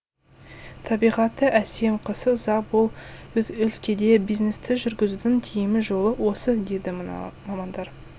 табиғаты әсем қысы ұзақ бұл өлкеде бизнесті жүргізудің тиімі жолы осы дейді мына мамандар